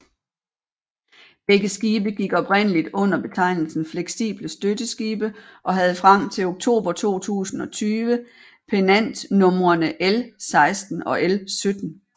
Begge skibe gik oprindeligt under betegnelsen fleksible støtteskibe og havde frem til oktober 2020 pennantnumrene L16 og L17